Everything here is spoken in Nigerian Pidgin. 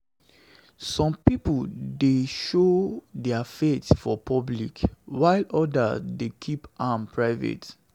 Some pipo dey show dia faith for public, while odas dey keep am private.